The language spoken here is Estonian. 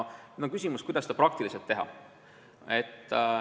Nüüd on küsimus selles, kuidas seda praktiliselt teha.